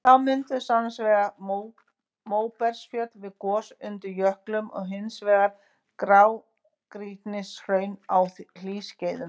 Þá mynduðust annars vegar móbergsfjöll við gos undir jöklum og hins vegar grágrýtishraun á hlýskeiðum.